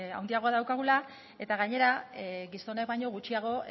handiagoa daukagula eta gainera gizonek baino gutxiago